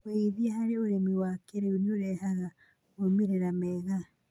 wĩigithia harĩ ũrĩmi wa kĩĩrĩu nĩ ũrehaga maumĩrĩra mega.